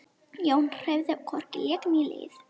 Jón hreyfði hvorki legg né lið.